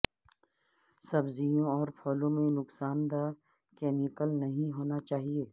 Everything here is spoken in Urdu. سبزیوں اور پھلوں میں نقصان دہ کیمیکل نہیں ہونا چاہئے